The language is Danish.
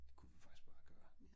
Det kunne vi faktisk bare gøre